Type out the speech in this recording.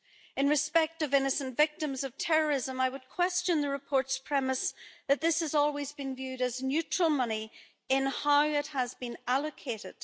In respect of innocent victims of terrorism, I would question the reports premise that this has always been viewed as neutral money in how it has been allocated.